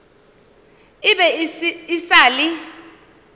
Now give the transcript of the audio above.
e be e sa le